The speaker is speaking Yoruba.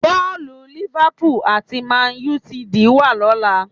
Bọ́ọ̀lù Liverpool àti Man Utd wà lọ́la